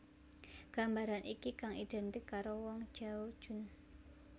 Gambaran iki kang identik karo Wang Zhaojun